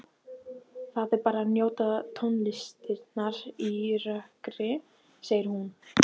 Það er betra að njóta tónlistarinnar í rökkri, segir hún.